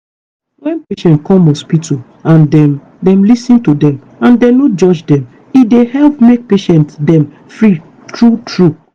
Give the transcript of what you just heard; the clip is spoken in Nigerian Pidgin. wen patient come hospital and dem dem lis ten to dem and dem no judge dem e dey help make patient dem free true true.